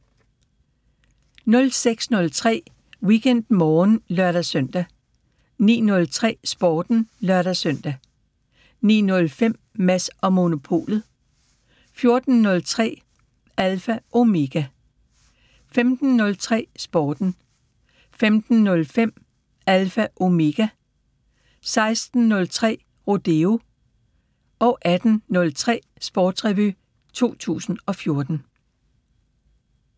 06:03: WeekendMorgen (lør-søn) 09:03: Sporten (lør-søn) 09:05: Mads & Monopolet 14:03: Alpha Omega 15:03: Sporten 15:05: Alpha Omega 16:03: Rodeo 18:03: Sportsrevy 2014